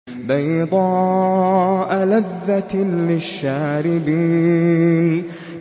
بَيْضَاءَ لَذَّةٍ لِّلشَّارِبِينَ